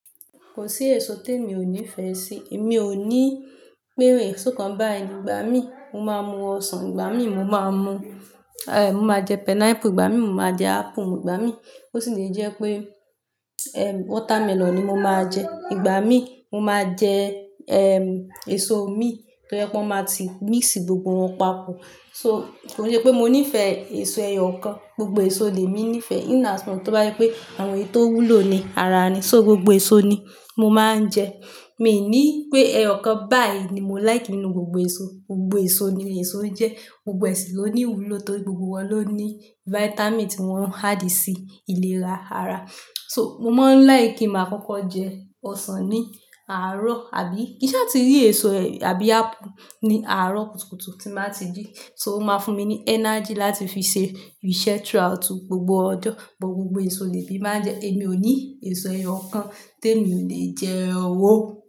Kò sí èso tí èmi ò nífẹ̀ẹ́ sí. Èmi ò ní pé esókan bá ì ni, ìgbà mí mo máa mu ọsàn, ìgbà mí mo máa mu-- eh, mo máa jẹ pineapple, ìgbà mí mo máa jẹ apple, ìgbà mí ó sì lè jẹ́ pé, eh, watermelon ni mo máa jẹ. Ìgbà mí mo máa jẹ, ehm, èso mí tó jẹ́ pé wọ́n máa ti mix gbogbo wọn papọ̀. So, kò yẹ pé mo nífẹ̀ẹ́ èso ẹyọ kan, gbogbo èso lè mi nífẹ̀ẹ́ in as much tó bá yé pé àwọn èso tó wúlò ni ara ni. So gbogbo èso ni mo máa ń jẹ. Mi ní pé ẹyọ kan báyìí ni mo like nínú gbogbo èso. Gbogbo èso ni èso jẹ́. Gbogbo èsì ló ní ìwúlò tóri gbogbo wọn ló ní vitamin tí wọ́n ń add sí ìlera ara. So, mo máa ń like kí màa kókó jẹ ọsàn ní àárọ̀ àbí kii ṣe àti rí èso àbí apple ní àárọ̀ kùtùkùtù tí màá ti jí. So, ó máa fún mi ní energy láti fi ṣe ìṣe through out gbogbo ọjọ́. But gbogbo èso ni èmi máa ń jẹ. Èmi ò ní èso ẹyọ kan tí èmi ò lè jẹ o.